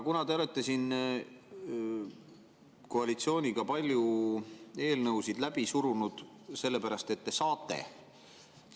Te olete siin koalitsiooniga palju eelnõusid läbi surunud, sellepärast et te saate.